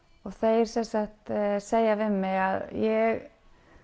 og þeir sem sagt segja við mig að ég